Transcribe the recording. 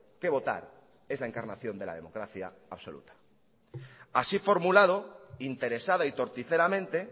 que votar es la encarnación de la democracia absoluta así formulado interesada y torticeramente